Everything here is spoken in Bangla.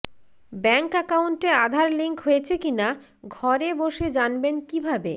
ব্যাঙ্ক অ্যাকাউন্টে আধার লিঙ্ক হয়েছে কিনা ঘরে বেসে জানবেন কীভাবে